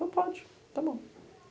Ele falou, pode, tá bom.